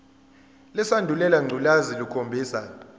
lesandulela ngculazi lukhombisa